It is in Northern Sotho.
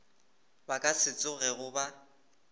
ba ka se tsogego ba